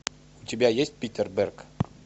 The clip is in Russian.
у тебя есть питер берг